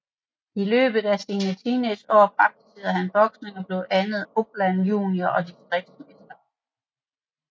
I løbet af sine teenageår praktiserede han boksning og blev blandt andet Uppland junior og distriktsmester